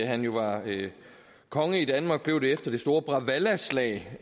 han var konge i danmark og blev det efter det store bråvallaslag